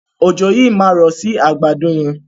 Òjò yii ma rọ sí àgbàdo yẹn.